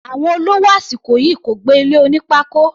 Àwọn olówó àsìkò yìí kò gbé ilé oní pákó.